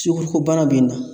Sukoro ko bana be na